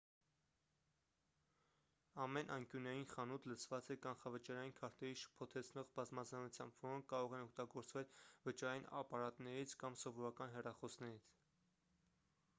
ամեն անկյունային խանութ լցված է կանխավճարային քարտերի շփոթեցնող բազմազանությամբ որոնք կարող են օգտագործվել վճարային ապարատներից կամ սովորական հեռախոսներից